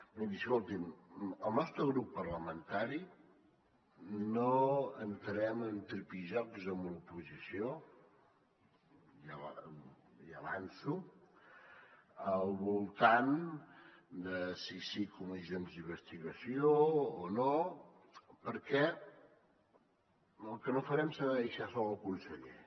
miri escolti’m el nostre grup parlamentari no entrem en tripijocs amb l’oposició ja l’hi avanço al voltant de si sí comissions d’investigació o no perquè el que no farem serà deixar sol el conseller